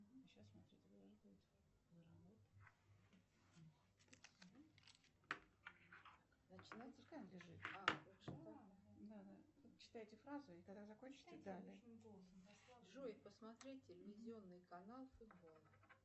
джой посмотреть телевизионный канал футбол